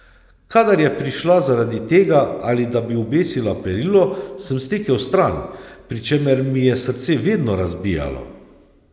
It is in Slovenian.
Kadar je prišla zaradi tega, ali da bi obesila perilo, sem stekel stran, pri čemer mi je srce vedno razbijalo.